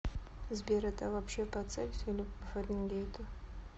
сбер это вообще по цельсию или по фаренгейту